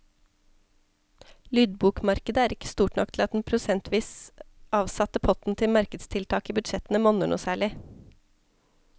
Lydbokmarkedet er ikke stort nok til at den prosentvis avsatte potten til markedstiltak i budsjettene monner noe særlig.